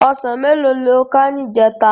Òsán méló ló ká nijètá?